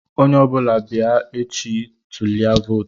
Onye ọ bụla bịa echi bịa tulie vootu!